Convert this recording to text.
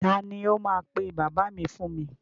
Ta ni ó máa pe bàbá mi fún mi?